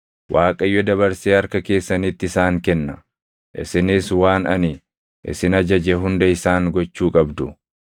Waaqayyo dabarsee harka keessanitti isaan kenna; isinis waan ani isin ajaje hunda isaan gochuu qabdu.